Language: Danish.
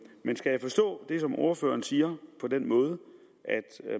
men skal jeg forstå det som ordføreren siger på den måde at